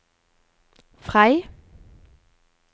Frei